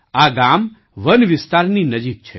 આ ગામ વન વિસ્તારની નજીક છે